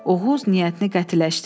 Oğuz niyyətini qətiləşdirdi.